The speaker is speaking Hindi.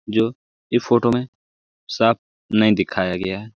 जो ई फोटो में साफ नहीं दिखाया गया है।